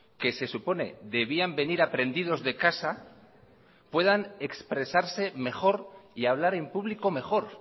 que se supone debían venir aprendidos de casa puedan expresarse mejor y hablar en público mejor